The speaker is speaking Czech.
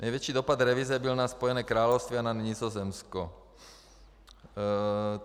Největší dopad revize byl na Spojené království a na Nizozemí.